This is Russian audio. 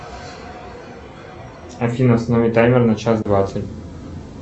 афина установи таймер на час двадцать